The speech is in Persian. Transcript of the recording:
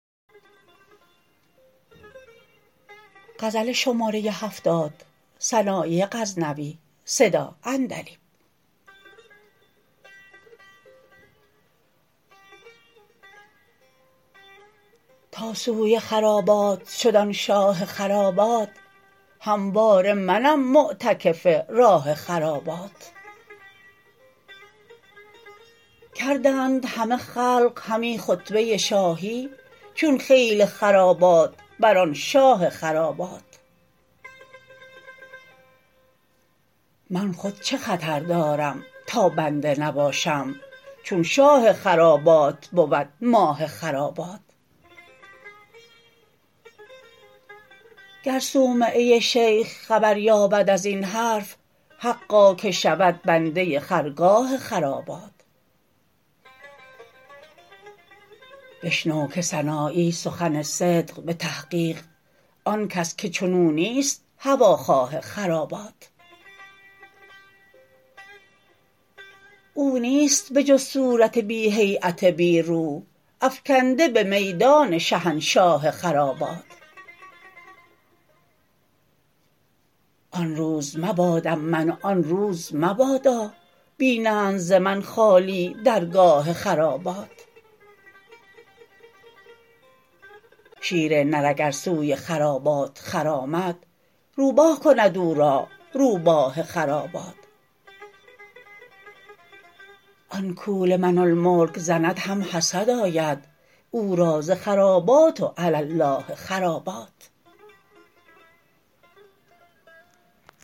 تا سوی خرابات شد آن شاه خرابات همواره منم معتکف راه خرابات کردند همه خلق همی خطبه شاهی چون خیل خرابات بر آن شاه خرابات من خود چه خطر دارم تا بنده نباشم چون شاه خرابات بود ماه خرابات گر صومعه شیخ خبر یابد ازین حرف حقا که شود بنده خرگاه خرابات بشنو که سنایی سخن صدق به تحقیق آن کس که چنو نیست هواخواه خرابات او نیست به جز صورت بی هییت بی روح افگنده به میدان شهنشاه خرابات آن روز مبادم من و آن روز مبادا بینند ز من خالی درگاه خرابات شیر نر اگر سوی خرابات خرامد روباه کند او را روباه خرابات آن کو لمن الملک زند هم حسد آید او را ز خرابات و علی الاه خرابات